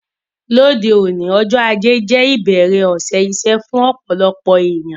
Lóde òní, ọjọ́ ajé je ìbẹ̀rẹ̀ òsẹ̀ isẹ́ fún ọ̀pọ̀lọpọ̀ èyàn